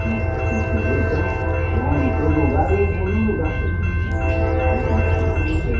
Tem sujeito, então, eu ando em todo lugar e eu vou no lugar que eles me, né me acompanham bem.